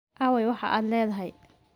Aaway waxa aad leedahay?